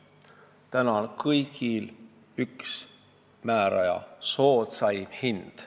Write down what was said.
Praegu on neil kõigil üks määraja: soodsaim hind.